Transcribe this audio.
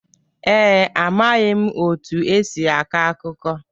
Ee, amaghị m otu esi akọ akụkọ